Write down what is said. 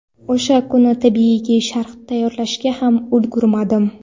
O‘sha kuni, tabiiyki, sharh tayyorlashga ham ulgurmadim.